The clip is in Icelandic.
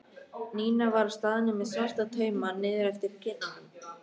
Nína var á staðnum með svarta tauma niður eftir kinnunum.